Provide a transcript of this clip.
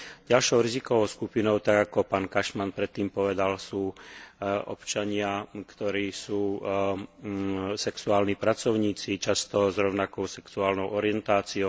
Ďalšou rizikovou skupinou tak, ako pán Cashman predtým povedal, sú občania, ktorí sú sexuálni pracovníci, často s rovnakou sexuálnou orientáciou.